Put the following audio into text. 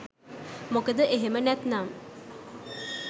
මොකද එහෙම නැත්තම්